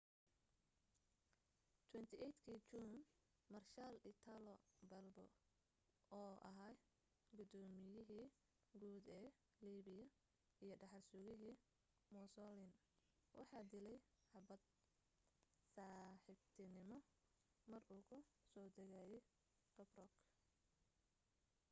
28 kii juun maarshaal italo balbo oo ahaa gudooymiyihii guud ee liibiya iyo dhaxal-sugihii mussolin waxa dilay xabbad saaxiibtiinimo mar uu ku soo degayay tobruk